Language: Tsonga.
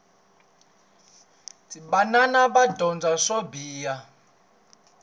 vanwana va dyondza swo biha